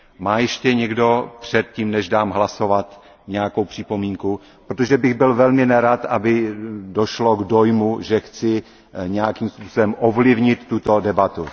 Má ještě někdo před tím, než dám hlasovat, nějakou připomínku, protože bych byl velmi nerad, aby došlo k dojmu, že chci nějakým způsobem ovlivnit tuto debatu.